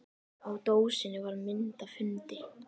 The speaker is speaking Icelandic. Á dósinni var mynd af hundi.